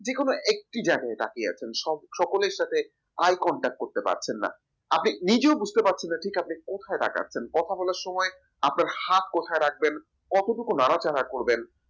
যেকোনো একটি জায়গায় তাকিয়ে আছেন সব সকলের সাথে eye concert করতে পারছেন না আপনি নিজেও বুঝতে পারছেন না ঠিক কোথায় তাকাচ্ছেন কথা বলার সময় আপনার হাত কোথায় রাখবেন কতটুকু নাড়াচাড়া করবেন